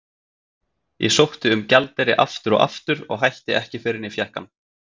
Ég sótti um gjaldeyri aftur og aftur og hætti ekki fyrr en ég fékk hann.